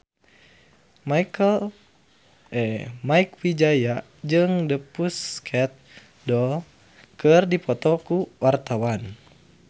Mieke Wijaya jeung The Pussycat Dolls keur dipoto ku wartawan